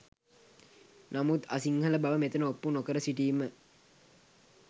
තමුන් අසිංහල බව මෙතන ඔප්පු නොකර සිටීම